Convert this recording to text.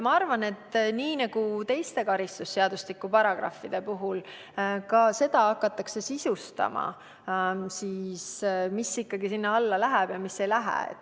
Ma arvan, et nii nagu teiste karistusseadustiku paragrahvide puhul, hakatakse ka seda sisustama, et mis selle alla ikkagi läheb ja mis ei lähe.